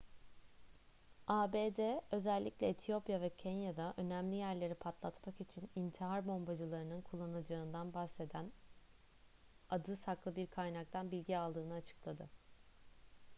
abd özellikle etiyopya ve kenya'da önemli yerleri patlatmak için intihar bombacılarının kullanılacağından bahseden adı saklı bir kaynaktan bilgi aldığını açıkladı